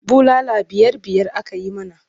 Bulala biyar-biyar aka yi mana.